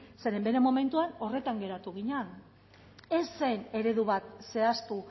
zeren bere momentuan horretan geratu ginen ez zen eredu bat zehaztu